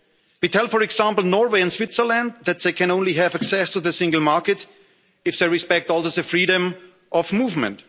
base. We tell, for example, Norway and Switzerland that they can only have access to the single market if they respect also the freedom of